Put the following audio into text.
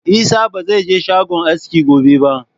Isah ba zai je shagon aski gobe ba!